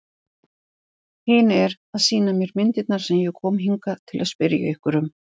Hinn er að sýna mér myndirnar sem ég kom hingað til að spyrja ykkur um.